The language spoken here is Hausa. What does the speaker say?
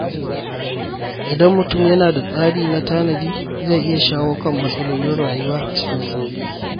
Idan mutum yana da tsari na tanadi, zai iya shawo kan matsalolin rayuwa cikin sauƙi.